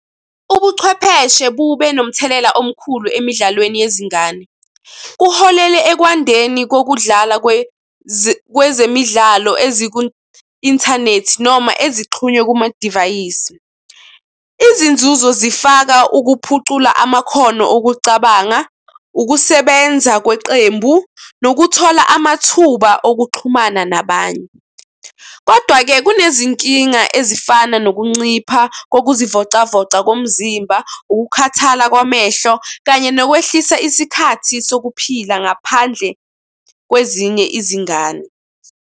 Ubuchwepheshe bube nomthelela omkhulu emidlalweni yezingane. Kuholele ekwandeni kokudlala kwezemidlalo eziku-inthanethi noma ezixhunywe kwamadivayisi. Izinzuzo zifaka ukuphucula amakhono okucabanga, ukusebenza kweqembu, nokuthola amathuba okuxhumana nabanye. Kodwa-ke, kunezinkinga ezifana nokuncipha kokuzivocavoca komzimba, ukukhathala kwamehlo kanye nokwehlisa isikhathi sokuphila ngaphandle kwezinye izingane.